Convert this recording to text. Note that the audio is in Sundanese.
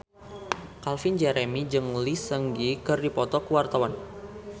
Calvin Jeremy jeung Lee Seung Gi keur dipoto ku wartawan